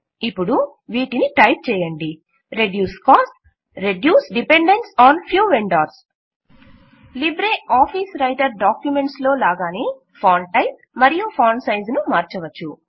ఇప్పుడు వీటిని టైప్ చేయండి reduce costs reduce dependence on few vendors libre office writer documents లో లాగానే ఫాంట్ టైప్ మరియు ఫాంట్ సైజ్ ను మార్చవచ్చు